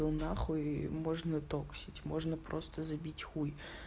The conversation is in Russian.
ну нахуй можно токсить можно просто забить хуй